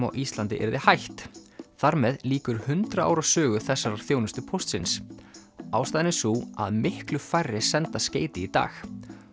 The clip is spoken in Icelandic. á Íslandi yrði hætt þar með lýkur hundrað ára sögu þessarar þjónustu Póstsins ástæðan er sú að miklu færri senda skeyti í dag